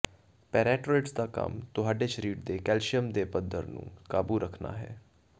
ਪੈਰਾਟ੍ਰੋਇਡਜ਼ ਦਾ ਕੰਮ ਤੁਹਾਡੇ ਸਰੀਰ ਦੇ ਕੈਲਸੀਅਮ ਦੇ ਪੱਧਰ ਨੂੰ ਕਾਬੂ ਕਰਨਾ ਹੈ